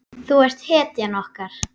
Þú ert hetjan okkar.